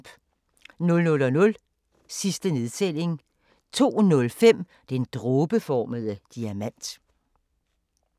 00:00: Sidste nedtælling 02:05: Den dråbeformede diamant